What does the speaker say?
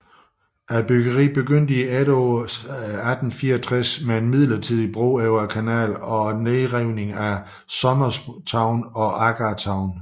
Byggeriet begyndte i efteråret 1864 med en midlertidig bro over kanalen og nedrivningen af Somers Town og Agar Town